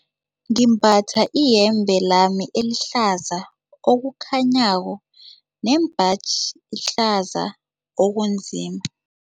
Ngimbatha iyembe lami elihlaza okukhanyako nembaji ehlaza okunzima.